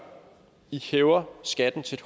i hæver skatten til